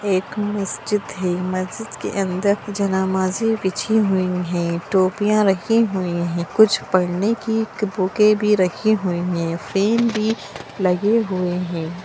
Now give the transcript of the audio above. एक मस्जिद है मस्जिद के अंदर जनामाजी बिछी हुई है टोपियां रखी हुई है कुछ पढ़ने की बुके भी रखी हुई है फ्रेम भी लगे हुए हैं।